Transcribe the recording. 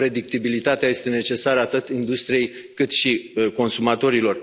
Predictibilitatea este necesară atât industriei, cât și consumatorilor.